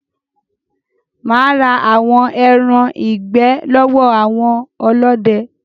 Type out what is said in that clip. Mà á ra àwọn ẹran ìgbẹ́ lọ́wọ́ àwọn ọlọ́dẹ.